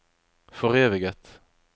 foreviget